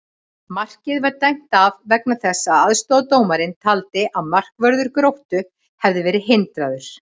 Markið var dæmt af vegna þess að aðstoðardómarinn taldi að markvörður Gróttu hefði verið hindraður!